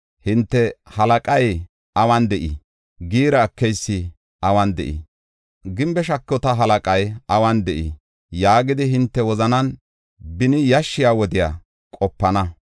Hinte, “Halaqay awun de7ii? Giira ekeysi awun de7ii? Gimbe shakota halaqay awun de7ii?” yaagidi hinte wozanan beni yashshiya wodiya qopana.